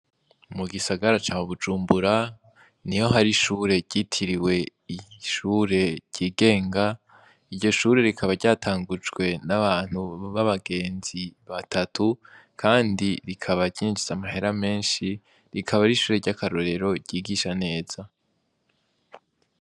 Mu gisagara ca Bujumbura niho hari ishure ryitiriwe ishure ryigenga iryo shure rikaba ryatangujwe n'abantu b'abagenzi batatu kandi rikaba ryinjiza amahera menshi rikaba ar'ishure ry'akarorero ryigisha neza.